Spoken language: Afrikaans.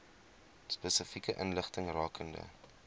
spesifieke inligting rakende